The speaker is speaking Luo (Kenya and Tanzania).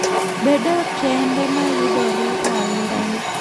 Bed e otende ma yudore e alworani.